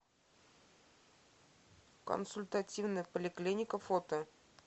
консультативная поликлиника фото